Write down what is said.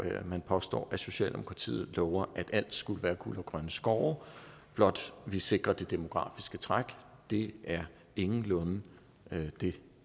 man påstår at socialdemokratiet lover at alt skulle være guld og grønne skove blot vi sikrer det demografiske træk det er ingenlunde det